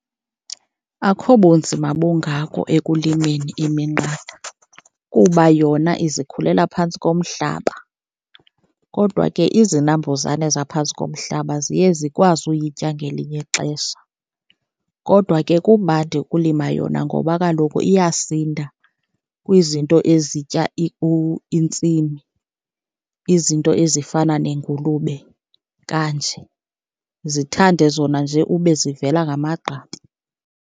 Akho bunzima bungako ekulimeni iminqatha kuba yona izikhulela phantsi komhlaba, kodwa ke izinambuzane zaphantsi komhlaba ziye zikwazi uyitya ngelinye ixesha. Kodwa ke kumandi ukulima yona ngoba kaloku iyasinda kwizinto ezitya intsimi, izinto ezifana nengulube kanje, zithande zona nje ube zivela ngamagqabi.